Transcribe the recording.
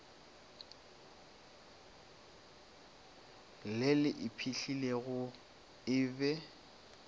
le le iphihlilego e be